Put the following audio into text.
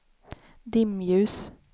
dimljus